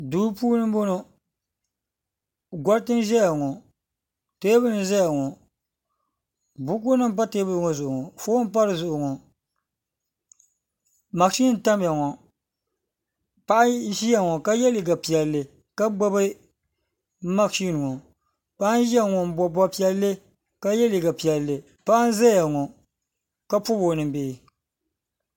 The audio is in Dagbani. Duu puuni n boŋɔ goriti n zaya ŋɔ teebuli n Zia ŋɔ buku nim m pa teebuli ŋɔ zuɣu ŋɔ fon n pa di zuɣu ŋɔ mashini n tamya ŋɔ paɣa zia ŋɔ ka ye liga piɛli ka gbubi mashini ŋɔ paɣa n zia ŋɔ n bobi bobi piɛli ka ye liga piɛli paɣa Zia ŋɔ ka pobi o noli.